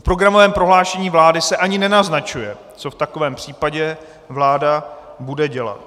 V programovém prohlášení vlády se ani nenaznačuje, co v takovém případě vláda bude dělat.